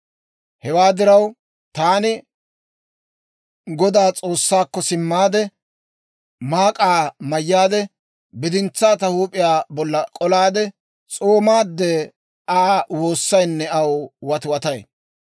Hewaa diraw, taani Godaa S'oossaakko simmaade; maak'aa mayyaade, bidintsaa ta huup'iyaa bolla k'olaade, s'oomaadde, Aa woossaynne aw watiwatay.